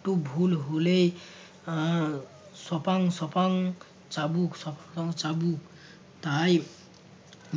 একটু ভুল হলেই আহ সপাং সপাং চাবুক সপাং চাবুক তাই